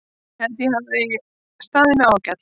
Ég held að ég hafi staðið mig ágætlega.